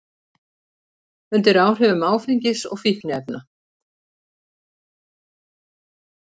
Undir áhrifum áfengis og fíkniefna